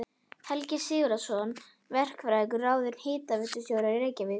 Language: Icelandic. Helgi Sigurðsson verkfræðingur ráðinn hitaveitustjóri í Reykjavík.